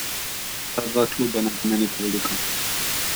Ta dva kluba nam pomenita veliko.